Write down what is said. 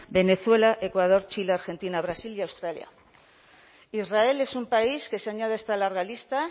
venezuela ecuador chile argentina brasil y australia israel es un país que se añade a esta larga lista